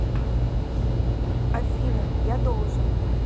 афина я должен